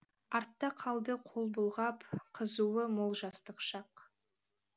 артта қалды қол бұлғап қызуы мол жастық шақ